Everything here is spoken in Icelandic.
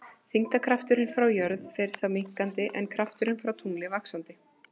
Þyngdarkrafturinn frá jörð fer þá minnkandi en krafturinn frá tungli vaxandi.